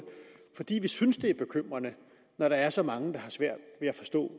fordi vi synes det er bekymrende når der er så mange der har svært ved at forstå